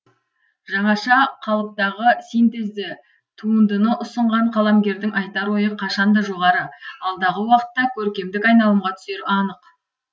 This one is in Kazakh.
жаңаша қалыптағы синтезді туындыны ұсынған қаламгердің айтар ойы қашан да жоғары алдағы уақытта көркемдік айналымға түсері анық